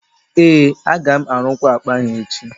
ee, aga m arụkwa akpa ahụ echi